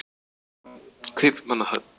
Kaupmannahöfn